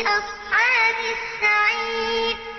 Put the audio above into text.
أَصْحَابِ السَّعِيرِ